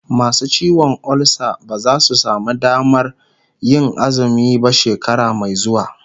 masu ciwon ulsa ba zasu samu Damanr Yin azumi ba shekara Mai xuwa